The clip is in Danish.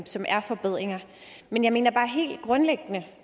som er forbedringer men jeg mener bare helt grundlæggende